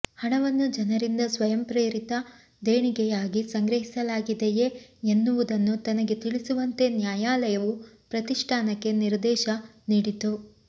ಹಣವನ್ನು ಜನರಿಂದ ಸ್ವಯಂಪ್ರೇರಿತ ದೇಣಿಗೆಯಾಗಿ ಸಂಗ್ರಹಿಸಲಾಗಿದೆಯೇ ಎನ್ನುವುದನ್ನೂ ತನಗೆ ತಿಳಿಸುವಂತೆ ನ್ಯಾಯಾಲಯವು ಪ್ರತಿಷ್ಠಾನಕ್ಕೆ ನಿರ್ದೇಶ ನೀಡಿತು